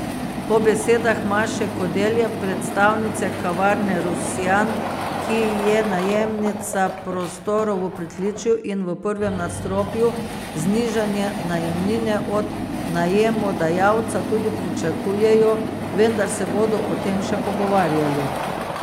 Po besedah Maše Kodelja, predstavnice Kavarne Rusjan, ki je najemnica prostorov v pritličju in v prvem nadstropju, znižanje najemnine od najemodajalca tudi pričakujejo, vendar se bodo o tem še pogovarjali.